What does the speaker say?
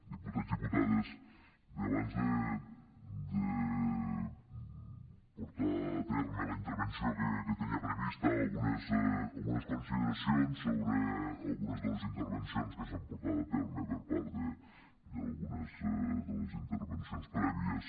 diputats diputades bé abans de portar a terme la interven·ció que tenia prevista algunes consideracions sobre algunes de les intervencions que s’han portat a terme per part d’algunes de les intervencions prèvies